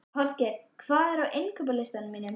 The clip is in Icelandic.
Holger, hvað er á innkaupalistanum mínum?